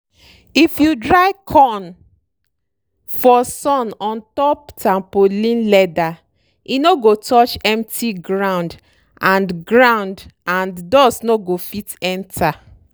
if you dry corn for sun ontop tampolin leather e no go touch empty ground and ground and dust no go fit enter.